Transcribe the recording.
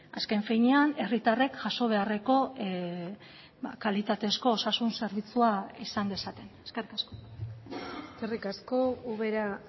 azken finean herritarrek jaso beharreko kalitatezko osasun zerbitzua izan dezaten eskerrik asko eskerrik asko ubera